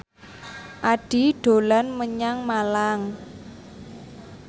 Addie dolan menyang Malang